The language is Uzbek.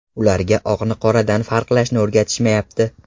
Ularga oqni qoradan farqlashni o‘rgatishmayapti.